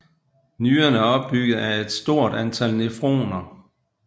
Nyren er opbygget af et stort antal nephroner